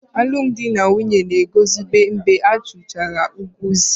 Alụmdi na nwunye na-eguzobe mgbe a kwụchara ụgwọ isi